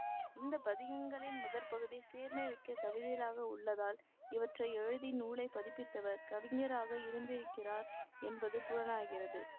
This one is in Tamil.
இந்த பதிகங்களின் முதற்பகுதி சீர்மை மிக்க கவிதைகளாக உள்ளதால் இவற்றை எழுதி நூலைப் பதிப்பித்தவர் கவிஞராக இருந்திருக்கிறார் என்பது புலனாகிறது